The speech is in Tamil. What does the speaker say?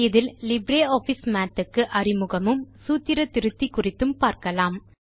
இதில் லிப்ரியாஃபிஸ் மாத் க்கு அறிமுகமும் சூத்திர திருத்தி குறித்தும் பார்க்கலாம்